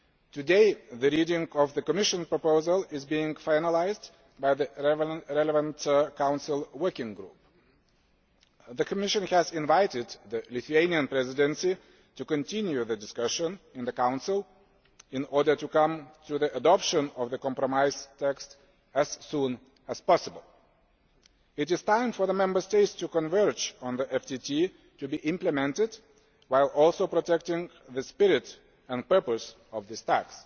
Today the reading of the Commission proposal is being finalised by the relevant Council working group. The Commission has invited the Lithuanian Presidency to continue the discussion in the Council, in order to come to the adoption of the compromise text as soon as possible. It is time for the Member States to converge on the FTT to be implemented, while also protecting the spirit and purpose of this tax.